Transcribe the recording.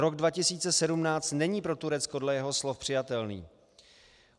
Rok 2017 není pro Turecko dle jeho slov přijatelný.